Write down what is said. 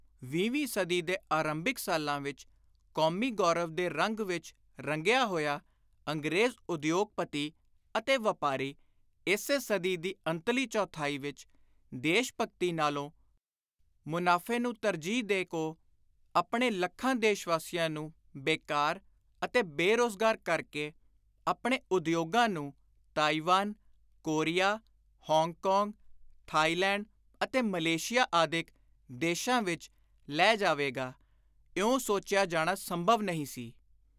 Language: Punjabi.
ਵੀਹਵੀਂ ਸਦੀ ਦੇ ਆਰੰਭਿਕ ਸਾਲਾਂ ਵਿਚ ਕੌਮੀ ਗੌਰਵ ਦੇ ਰੰਗ ਵਿਚ ਰੰਗਿਆ ਹੋਇਆ ਅੰਗਰੇਜ਼ ਉਦਯੋਗਪਤੀ ਅਤੇ ਵਾਪਾਰੀ, ਇਸੇ ਸਦੀ ਦੀ ਅੰਤਲੀ ਚੌਥਾਈ ਵਿਚ ਦੇਸ਼-ਭਗਤੀ ਨਾਲੋਂ ਮੁਨਾਫ਼ੇ ਨੂੰ ਤਰਜੀਹ ਦੇ ਕੋ, ਆਪਣੇ ਲੱਖਾਂ ਦੇਸ਼ਵਾਸੀਆਂ ਨੂੰ ਬੇਕਾਰ ਅਤੇ ਬੇ-ਰੋਜ਼ਗਾਰ ਕਰ ਕੇ ਆਪਣੇ ਉਦਯੋਗਾਂ ਨੂੰ ਤਾਈਵਾਨ, ਕੋਰੀਆ, ਹਾਂਗਕਾਂਗ, ਥਾਈਲੈਂਡ ਅਤੇ ਮਲੇਸ਼ੀਆ ਆਦਿਕ ਦੇਸ਼ਾਂ ਵਿਚ ਲੈ ਜਾਵੇਗਾ, ਇਉਂ ਸੋਚਿਆ ਜਾਣਾ ਸੰਭਵ ਨਹੀਂ ਸੀ।